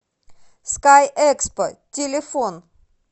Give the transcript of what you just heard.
скайэкспо телефон